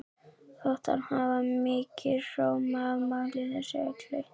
Þótti hann hafa mikinn sóma af máli þessu öllu.